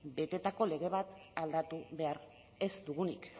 betetako lege bat aldatu behar ez dugunik